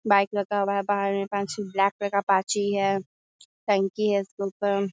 Bike लगा हुआ है बाहर में पाँच छे ब्लैक कलर का अपाची है टंकी है इसके ऊपर।